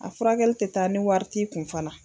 A furakɛli tɛ taa ni wari t'i kun fana.